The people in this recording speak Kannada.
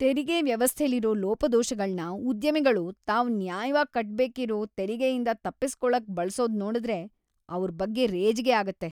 ತೆರಿಗೆ ವ್ಯವಸ್ಥೆಲಿರೋ ಲೋಪದೋಷಗಳ್ನ ಉದ್ಯಮಿಗಳು ತಾವ್‌ ನ್ಯಾಯವಾಗ್‌ ಕಟ್ಬೇಕಿರೋ ತೆರಿಗೆಯಿಂದ ತಪ್ಪಿಸ್ಕೊಳಕ್‌ ಬಳ್ಸೋದ್ನೋಡುದ್ರೆ ಅವ್ರ್ ಬಗ್ಗೆ ರೇಜಿಗೆ ಆಗತ್ತೆ.